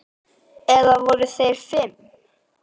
Eða voru þeir fimm?